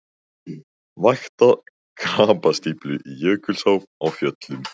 Vakta krapastíflu í Jökulsá á Fjöllum